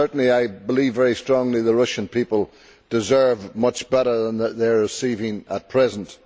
I believe very strongly that the Russian people deserve much better than they are receiving at present.